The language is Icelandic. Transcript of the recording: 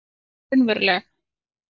En ég er líka raunveruleg